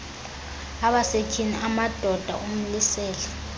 abasetyhini amadoda umlisela